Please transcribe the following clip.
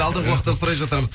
алдағы уақытта сұрай жатармыз